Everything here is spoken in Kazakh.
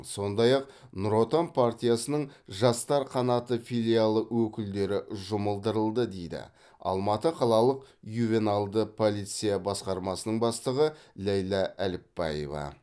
сондай ақ нұр отан партиясының жастар қанаты филиалы өкілдері жұмылдырылды дейді алматы қалалық ювеналды полиция басқармасының бастығы ләйлә әліпбаева